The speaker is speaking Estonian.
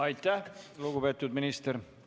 Aitäh, lugupeetud minister!